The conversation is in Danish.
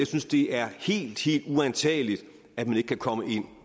synes det er helt helt uantageligt at man ikke kan komme ind